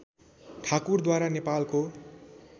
ठाकुरद्वारा नेपालको